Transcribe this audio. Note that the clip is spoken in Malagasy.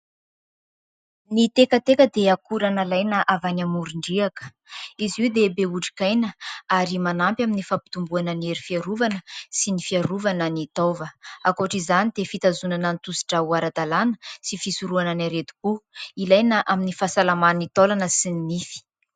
Ny tekateka dia akora nalaina avy any amorondriaka. Izy io dia be otrikaina, ary manampy amin'ny fampitomboana ny hery fiarovana sy ny fiarovana ny taova. Ankoatra izany dia fitazonana ny tosidrà ho ara-dalana sy fisorohana ny aretim-po. Ilaina amin'ny fahasalaman'ny taolana sy ny nify.